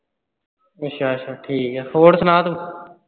ਅੱਛਾ ਅੱਛਾ, ਠੀਕ ਆ ਹੋਰ ਸੁਣਾ ਤੂੰ?